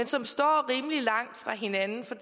som står rimelig langt fra hinanden for